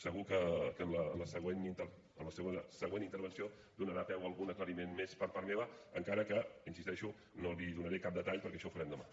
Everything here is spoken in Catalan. segur que la següent intervenció donarà peu a algun aclariment més per part meva encara que hi insisteixo no li donaré cap detall perquè això ho farem demà